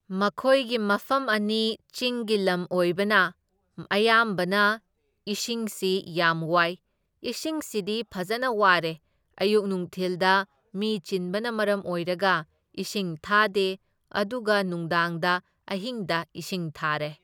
ꯃꯈꯣꯢꯒꯤ ꯃꯐꯝ ꯑꯅꯤ ꯆꯤꯡꯒꯤ ꯂꯝ ꯑꯣꯏꯕꯅ ꯑꯌꯥꯝꯕꯅ ꯏꯁꯤꯡꯁꯤ ꯌꯥꯝ ꯋꯥꯏ, ꯏꯁꯤꯡꯁꯤꯗꯤ ꯐꯖꯅ ꯋꯥꯔꯦ, ꯑꯌꯨꯛ ꯅꯨꯡꯊꯤꯜꯗ ꯃꯤ ꯆꯤꯟꯕꯅ ꯃꯔꯝ ꯑꯣꯏꯔꯒ ꯏꯁꯤꯡ ꯊꯥꯗꯦ ꯑꯗꯨꯒ ꯅꯨꯡꯗꯥꯡꯗ ꯑꯍꯤꯡꯗ ꯏꯁꯤꯡ ꯊꯥꯔꯦ꯫